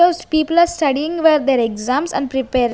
People are studying where their exams and prepare.